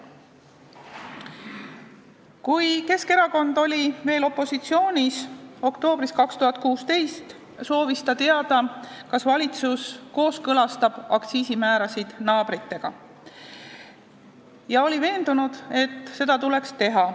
Kui Keskerakond oli veel oktoobris 2016 opositsioonis, soovis ta teada, kas valitsus kooskõlastab aktsiisimäärasid naabritega, ja oli veendunud, et seda tuleks teha.